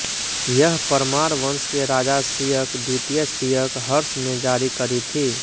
यह परमार वंश के राजा सियक द्वितीय सियक हर्ष ने जारी करी थीं